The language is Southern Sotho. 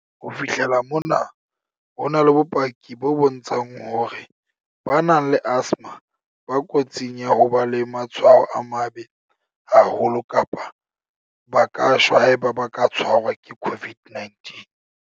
"Ho fihlela mona, ho na le bopaki bo bontshang hore ba nang le asthma ba kotsing ya ho ba le matshwao a mabe haholo kapa ba ka shwa haeba ba ka tshwarwa ke COVID-19."